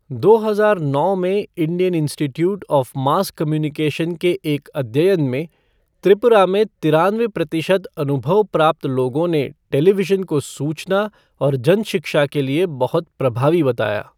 दो हजार नौ में Indian institute of mass communication के एक अध्ययन में, त्रिपुरा में तिरानवे प्रतिशत अनुभाव प्राप्त लोगों ने टेलीविज़न को सूचना और जन शिक्षा के लिए बहुत प्रभावी बताया।